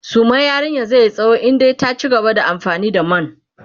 suman yarinyan zaiyi tsawo in dai ta cigaba da amfani da man